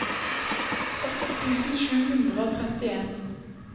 åtte tusen sju hundre og trettien